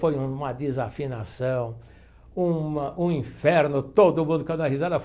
Foi uma desafinação, uma um inferno todo mundo caiu na risada.